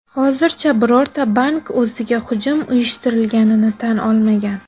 Hozircha birorta bank o‘ziga hujum uyushtirilganini tan olmagan.